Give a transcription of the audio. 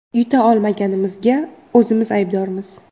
Yuta olmaganimizga o‘zimiz aybdormiz.